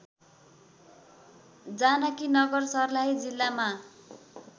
जानकीनगर सर्लाही जिल्लामा